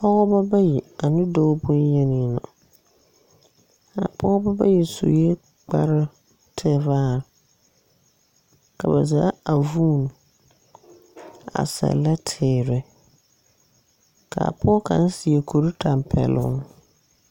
Pɔgebɔ bayi ane dɔɔ bonyeni la, a pɔɔbɔ bayi sue kparoo tevaare. Ka ba zaa a vuun a sɛllɛ teere. K'a pɔɔ kaŋ seɛ kurtampɛloŋ.